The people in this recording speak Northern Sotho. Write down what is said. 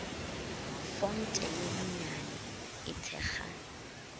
fonte ye nnyane e thekga